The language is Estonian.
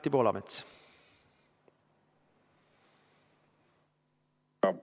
Anti Poolamets!